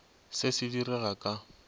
se se di rega ka